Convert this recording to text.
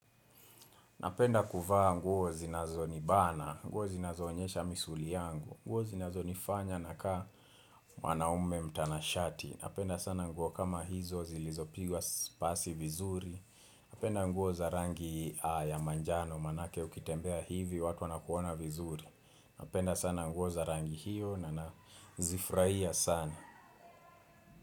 Napenda kuvaa nguo zinazonibana, nguo zinazoonyesha misuli yangu. Nguo zinazonifanya nakaa mwanaume mtanashati. Napenda sana nguo kama hizo zilizopigwa pasi vizuri Napenda nguo za rangi ya manjano maanake ukitembea hivi watu wanakuona vizuri. Napenda sana nguo za rangi hiyo na nazifurahia sana.